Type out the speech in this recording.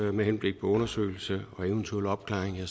med henblik på undersøgelse og eventuel opklaring